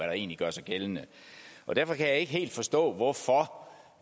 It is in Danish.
der egentlig gør sig gældende derfor kan jeg ikke helt forstå hvorfor